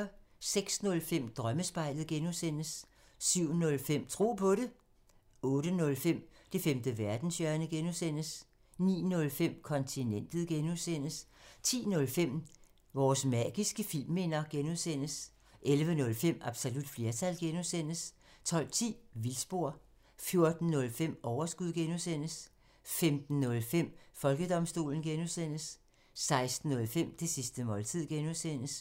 06:05: Drømmespejlet (G) 07:05: Tro på det 08:05: Det femte verdenshjørne (G) 09:05: Kontinentet (G) 10:05: Vores magiske filmminder (G) 11:05: Absolut flertal (G) 12:10: Vildspor 14:05: Overskud (G) 15:05: Folkedomstolen (G) 16:05: Det sidste måltid (G)